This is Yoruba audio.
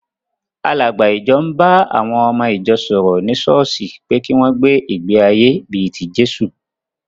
Àlàgbà ìjọ ń ba àwọn ọmọ ìjọ sọ̀rọ̀ ní ṣọ́ọ́ṣì pé kí wọ́n gbé ìgbé-ayé bí i ti Jésù.